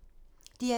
DR2